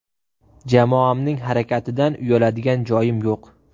Jamoamning harakatidan uyaladigan joyim yo‘q.